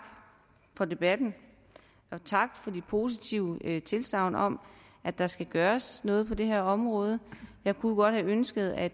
for debatten og tak for de positive tilsagn om at der skal gøres noget på det her område jeg kunne godt have ønsket at